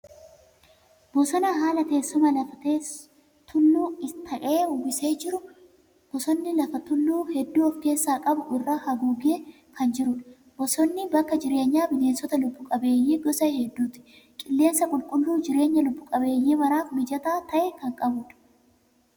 Bosona haala teessuma lafaa tulluu ta'e uwwisee jiru. Bosonni kun lafa tulluu hedduu ofkeessaa qabu irra haguugee kan jirudha. Bosonni bakka jireenya bineensota lubbuu qabeeyyii gosa hedduuti. Qilleensa qulqulluu jireenya lubbuu qabeeyyii maraaf mijataa ta'e kan qabudha.